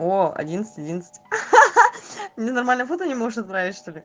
во одиннадцать одиннадцать ха-ха мне нормальное фото не можешь отправить что ли